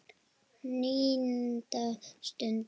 NÍUNDA STUND